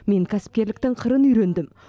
мен кәсіпкерліктің қырын үйрендім